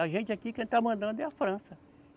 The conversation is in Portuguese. A gente aqui, quem está mandando é a França.